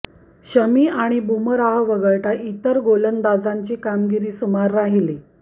शमी आणि बुमराह वगळता इतर गोलंदाजांची कामगिरी सुमार राहिली